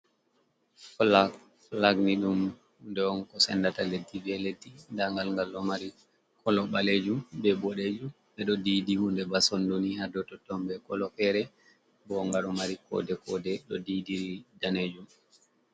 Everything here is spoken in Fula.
Fulaak fulaak ni ɗum hunde'on ko sendaata leddi be leddi, ndagal ngal ɗo maarii koloo ɓalejum be boɗejum, ɓeɗo diidi hundee ba sondoni hadou totton be koloo feere. Bo nga ɗo maari koode-koode ɗo diidi danejum.